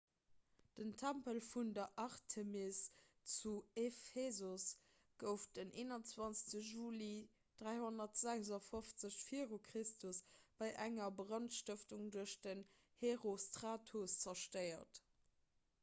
den tempel vun der artemis zu ephesos gouf den 21 juli 356 v chr bei enger brandstëftung duerch den herostratos zerstéiert